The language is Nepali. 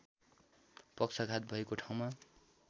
पक्षघात भएको ठाउँमा